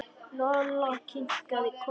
Lolla kinkaði kolli.